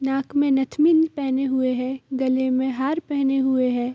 नाक में नथनी भी पहने हुए गले में हार पहने हुए हैं।